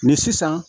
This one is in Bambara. Ni sisan